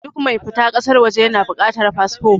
Duk mai fita ƙasar waje ya na da buƙatar fasfo.